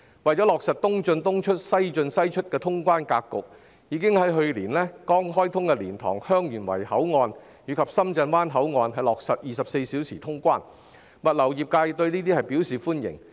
為落實"東進東出、西進西出"的通關格局，港深兩地政府已於去年剛開通的蓮塘/香園圍口岸及深圳灣口岸落實24小時通關，物流業界對此表示歡迎。